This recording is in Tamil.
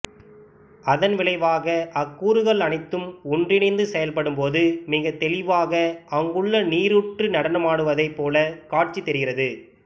அதன் விளைவாக அக் கூறுகள் அனைத்தும் ஒன்றிணைந்து செயல்படும்போது மிகத் தெளிவாக அங்குள்ள நீரூற்று நடனமாடுவதைப் போலக் காட்சிக்குத் தெரிகிறது